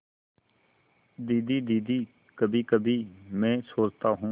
दीदी दीदी कभीकभी मैं सोचता हूँ